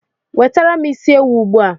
Wetara m isi ewu ugbua!